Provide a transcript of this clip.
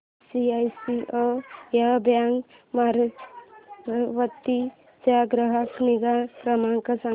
ICICI bank Amravati चा ग्राहक निगा क्रमांक सांगा